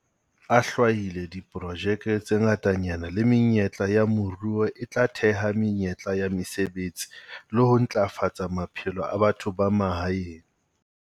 A hlwahile diprojeke tse ngatanyana le menyetla ya moruo e tla theha menyetla ya mesebetsi le ho ntlafatsa maphelo a batho ba mahaeng.